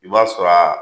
I b'a sɔrɔ a